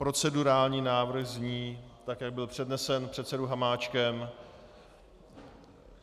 Procedurální návrh zní tak, jak byl přednesen předsedou Hamáčkem.